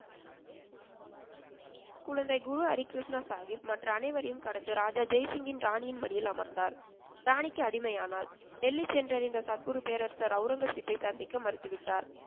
குழந்தை குரு ஹரிகிருஷ்ணா சாகிப் மற்ற அனைவரையும் கடந்து ராஜா ஜெய்சிங்கின் ராணியின் மடியில் அமர்ந்தார். ராணிக்கு அடிமையானார். டெல்லி சென்றடைந்த சத்குரு பேரரசர் ஒளரங்கசீப்பை சந்திக்க மறுத்துவிட்டார்.